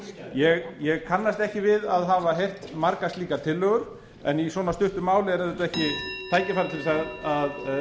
framvegis ég kannast ekki við að hafa heyrt margar slíkar tillögur en í svona stuttu máli er auðvitað ekki tækifæri til þess að